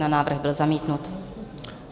Návrh byl zamítnut.